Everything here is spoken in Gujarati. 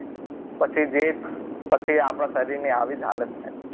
પછી જે પછી આપણા શરીરની આવી જ હાલત થાય